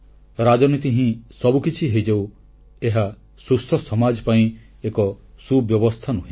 ରାଜନୀତି ହିଁ ସବୁକିଛି ହୋଇଯାଉ ଏହା ସୁସ୍ଥ ସମାଜ ପାଇଁ ଏକ ସୁବ୍ୟବସ୍ଥା ନୁହେଁ